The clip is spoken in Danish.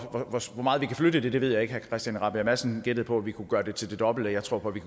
meget vi kan flytte det ved jeg ikke herre christian rabjerg madsen gættede på at vi kunne gøre det til det dobbelte jeg tror på at vi